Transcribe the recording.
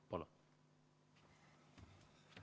Palun!